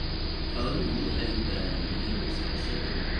Xooluhu waxay u baahan yihiin la socosho dhow.